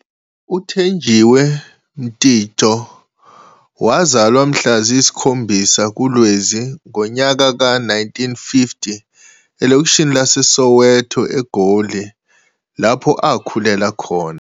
UThenjiwe Mtintso wazalwa mhla ziyisikhombisa kuLwezi ngonyaka ka 1950 elokishini lase Soweto eGoli, lapho akhulela khona.